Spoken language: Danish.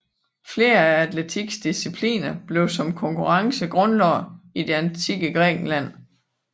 Flere af atletikkens discipliner blev som konkurrencer grundlagt i det antikke Grækenland